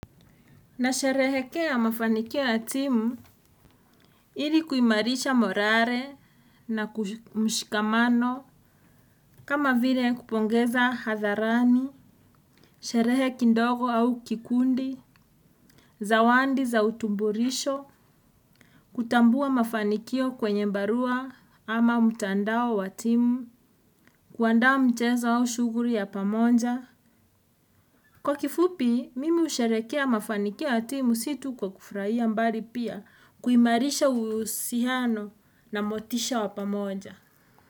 Na sherehekea mafanikio ya timu ili kuimarisha morare na kumshikamano kama vile kupongeza hadharani, sherehe kindogo au kikundi, zawandi za utubulisho kutambua mafanikio kwenye mbarua ama mtandao wa timu kuandaa mchezo au shughuli ya pamoja. Kwa kifupi, mimi usherekea mafanikio ya timu situ kwa kufrahia mbali pia, kuimarisha uhusihano na motisha wapamoja.